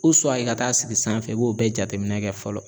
U suwa e ka taa sigi sanfɛ e b'o bɛɛ jateminɛ kɛ fɔlɔ